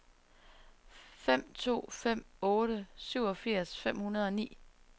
fem to fem otte syvogfirs fem hundrede og ni